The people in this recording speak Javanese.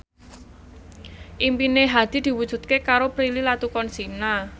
impine Hadi diwujudke karo Prilly Latuconsina